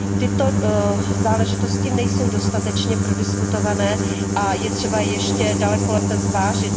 Tyto záležitosti nejsou dostatečně prodiskutované a je třeba je ještě daleko lépe zvážit.